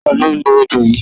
Ta ló ló odó yìí?